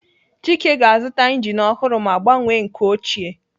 Chike ga-azụta injin ọhụrụ ma gbanwee nke ochie.